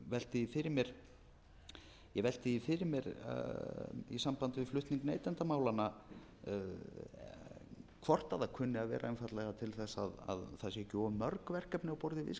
ég velti því fyrir mér í sambandi við flutning neytendamálanna hvort það kunni að vera einfaldlega til þess að séu ekki of mörg verkefni á borði viðskiptaráðherra sem fær fullt af verkefnum með